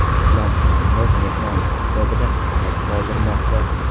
Islom Karimov mehmonlar kitobida qayd qoldirmoqda.